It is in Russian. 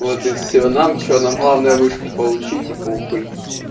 вот и всё нам что нам главное вышку получить и похуй